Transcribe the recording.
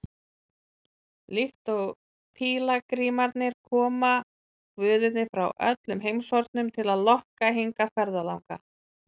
Líkt og pílagrímarnir koma guðirnir frá öllum heimshornum til að lokka hingað ferðalanga.